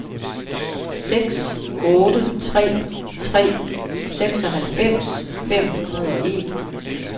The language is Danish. seks otte tre tre seksoghalvfems fem hundrede og en